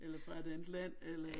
Eller fra et andet land eller